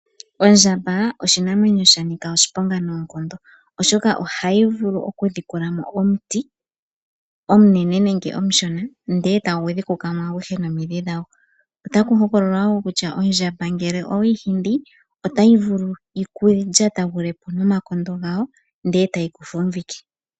Ondjamba oshinamwenyo sha nika oshiponga noonkondo, oshoka ohayi vulu okudhikulamo omuti omunene nenge omushona, ndele etagu dhikukamo aguhe nomidhi dhago . Otaku hokololwa wo kutya ngele ondjamba oweyi hingi , otayi vulu yikulyatagulepo nomagulu gawo ndele etayi ku fumvike.